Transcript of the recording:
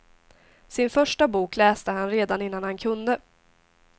Sin första bok läste han redan innan han kunde.